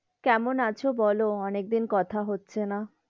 কেমন আছো বলো, অনেক দিন কথা হচ্ছে না,